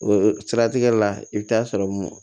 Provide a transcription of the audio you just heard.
O siratigɛ la i bɛ taa sɔrɔ mun